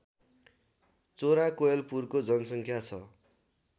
चोराकोयलपुरको जनसङ्ख्या छ